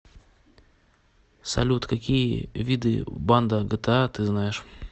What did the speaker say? салют какие виды банда гта ты знаешь